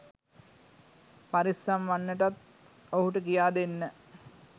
පරිස්සම් වන්නටත් ඔහුට කියාදෙන්න.